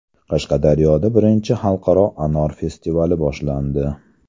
Qashqadaryoda Birinchi xalqaro anor festivali boshlandi.